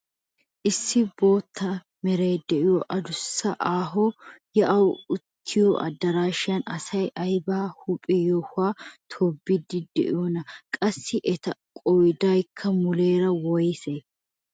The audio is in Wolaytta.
Issi bootta meray de'iyo adussanne aaho yaa'aawu uttiyo adaraashan asay ayba huuphe yohuwaan tobiidi de'iyoonaa? Qassi eta qoodaykka muleera woysee?